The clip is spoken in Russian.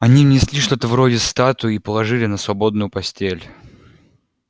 они внесли что-то вроде статуи и положили на свободную постель